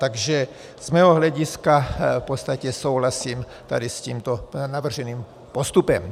Takže z mého hlediska v podstatě souhlasím tady s tímto navrženým postupem.